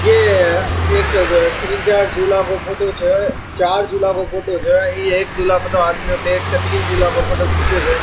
ये एक तीन चार झूला को फोटो छे चार झूला को फोटो छे ये एक झूला को तो आदमी बैठ के तीन झूला को फोटो खींचे जे।